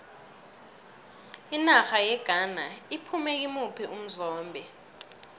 inarha yeghana iphume kimuphi umzombe